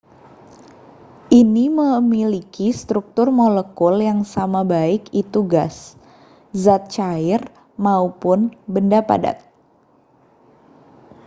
ini memiliki struktur molekul yang sama baik itu gas zat cair maupun benda padat